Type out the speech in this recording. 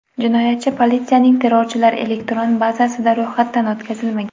Jinoyatchi politsiyaning terrorchilar elektron bazasida ro‘yxatdan o‘tkazilmagan.